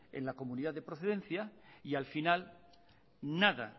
en la comunidad de procedencia y al final nada